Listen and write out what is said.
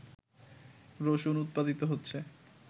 রসুন উৎপাদিত হচ্ছে